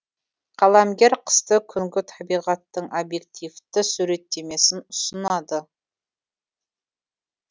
қаламгер қысты күнгі табиғаттың объективті суреттемесін ұсынады